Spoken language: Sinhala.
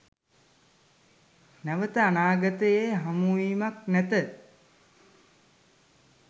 නැවත අනාගතයේ හමුවීමක් නැත